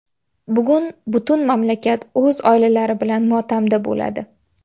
Bugun butun mamlakat o‘z oilalari bilan motamda bo‘ladi.